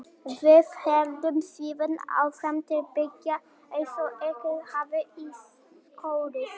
Við héldum síðan áfram til byggða eins og ekkert hefði í skorist.